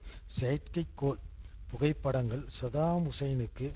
செயற்கைகைக்கோள் புகைப்படங்கள் சதாம் ஹூசேனுக்கு